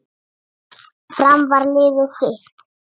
Fram var liðið þitt.